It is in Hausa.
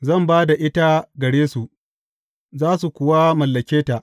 Zan ba da ita gare su, za su kuwa mallake ta.